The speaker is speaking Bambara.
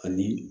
Ani